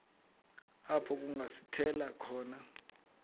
apho kungasithela khona